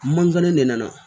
Mankan ne nana